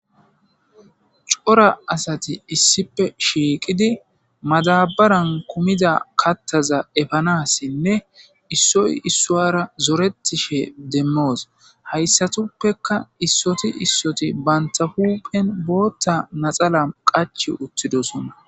Corra assati issipe madabarani kumiza kathaza efanasinne issoyi isuwara zoretishin demosi.hayisattapekka issoti issoti banitta hupheni botha laxanna qachi wothidosona.